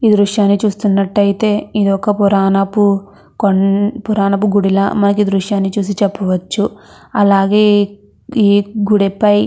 ఈ దృశ్యాన్ని చూస్తునట్టు అయితే ఇది ఒక పురాణపు గుడిల మనం ఈ దృశ్యాన్ని చూసి చెప్పవచ్చు. అలాగే ఈ గుడి పై --